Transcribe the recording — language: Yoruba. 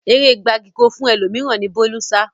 Eré gbagiì-ko-fún-ẹlòmíràn ni Bólú sá